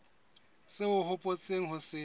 seo o hopotseng ho se